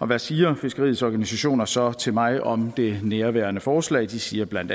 hvad siger fiskeriets organisationer så til mig om det nærværende forslag de siger bla